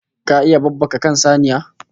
Ka iya babbaka kan saniya??